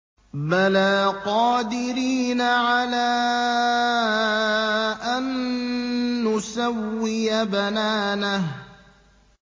بَلَىٰ قَادِرِينَ عَلَىٰ أَن نُّسَوِّيَ بَنَانَهُ